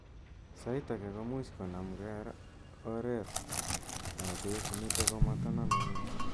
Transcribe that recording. sait age komuuch konam kra oreet �ap bek nitok ko mataname missing